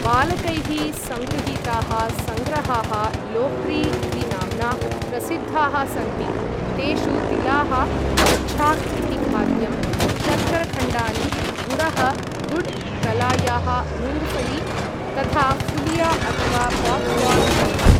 बालकैः सङ्गृहीताः सङ्ग्रहाः लोह्री इति नाम्ना प्रसिद्धाः सन्ति, तेषु तिलाः, गच्छाक् इति खाद्यं, शर्करखण्डानि, गुडः गुड़ , कलायाः मूंगफली तथा फुलिया अथवा पाप्कार्न् भवन्ति।